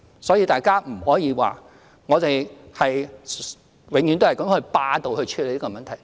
所以，大家不可以說，我們永遠是霸道地處理問題。